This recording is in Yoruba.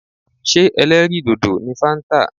Ṣé ẹlẹ́rìì dòdò ni fáńtà.